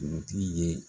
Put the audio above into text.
Dugutigi ye